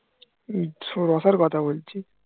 শ রসের কথা বলছি